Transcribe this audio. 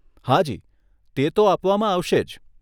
હાજી, તે તો આપવામાં આવશે જ.